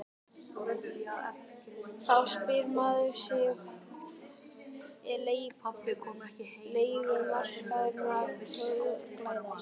Þá spyr maður sig er leigumarkaðurinn að glæðast?